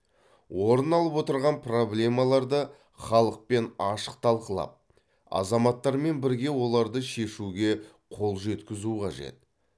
орын алып отырған проблемаларды халықпен ашық талқылап азаматтармен бірге оларды шешуге қол жеткізу қажет